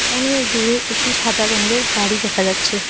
অনেক দূরে একটি সাদা রঙের গাড়ি দেখা যাচ্ছে।